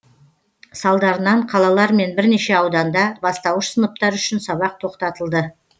салдарынан қалалар мен бірнеше ауданда бастауыш сыныптар үшін сабақ тоқтатылды